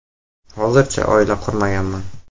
Hozircha oila qurmaganman.